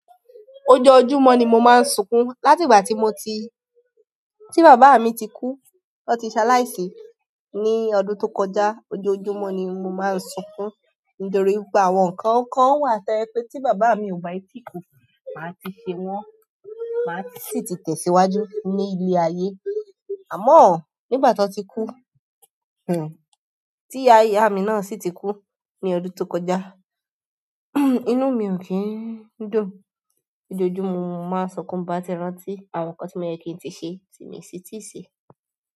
Ojoojúmọ́ ni mo máa ń sùnkun láti ìgbà tí mo ti-- tí bàbá mi ti kú. Ó ti ṣàla isi ní ọdún tó kọjá. Ojoojúmọ́ ni mo máa ń sunkún nítorí pé àwọn nǹkan kan wà to je pé tí bàbá mi ò bá yí ti kù, màá ti ṣe wọ́n, màá ti sì ti tẹ̀síwájú ní ilé ayé. Àmọ́ nígbà tan ti kú, hmn, tí ìyá ìyá mi náà sì ti kú ní ọdún tó kọjá, inú mi ò kí ń dùn. Ojooojumo ni mo ma n sunkun ti mo ba ti rántí àwọn nkan ti o ye kin ti se, ti mi o de ti se.